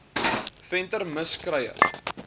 venter mis kruier